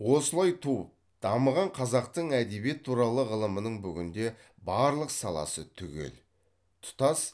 осылай туып дамыған қазақтың әдебиет туралы ғылымының бүгінде барлық саласы түгел тұтас